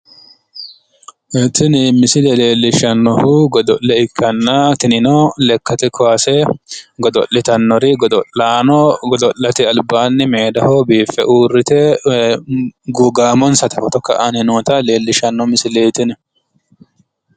Tini misile leellishshannohu godo'le ikkanna tinino lekkate kaase godo'litannori godo'litannori godo'laano godo'lete albaanni meedaho biiffe uurrite gaamonsata foto ka'anni noota leellishshanno misileeti tini.